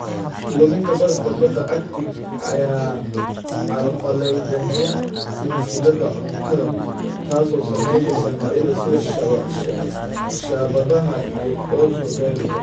Luminta barafka badda Arctic ayaa carqaladeynaya silsiladda cuntada, taas oo saameynaysa noocyada sida shaabadaha iyo orso-beelka.